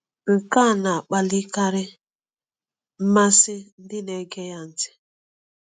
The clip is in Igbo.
Nke a na-akpalikarị mmasị ndị na-ege ya ntị.